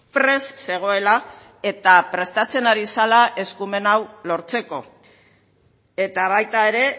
prest zegoela eta prestatzen ari zela eskumen hau lortzeko eta baita ere